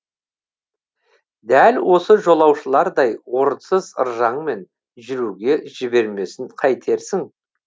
дәл осы жолаушылардай орынсыз ыржаңмен жүруге жібермесін қайтерсің